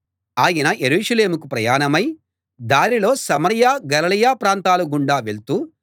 ఆయన యెరూషలేముకు ప్రయాణమై దారిలో సమరయ గలిలయ ప్రాంతాల గుండా వెళ్తూ